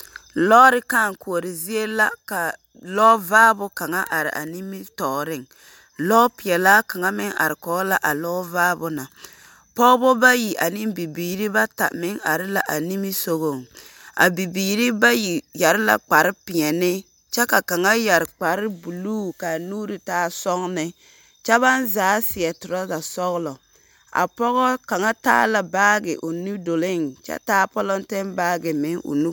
Lɔɔre kãã koɔroo zie la ka lɔɔ vaabo kaŋa are a nimitɔɔreŋ. Lɔɔpeɛlaa kaŋa meŋ are peɛle la a lɔɔ vaabo na. Pɔgebo bayi ane bibiiri bata meŋ are la a niŋe sɔgɔŋ. A bibiiri bayi yare la kparre peɛnɛ, kyɛ ka kaŋa yɛre kpar buluu kaa nuuri waa sɔɔne kyɛ baŋ zaa seɛ torasa sɔglɔ. A pɔgɔ kaŋa taa la baage o nudoleeŋ kyɛ taa pɔlɔnte baage meŋ o nu...